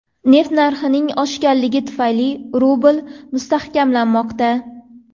Neft narxining oshganligi tufayli rubl mustahkamlanmoqda.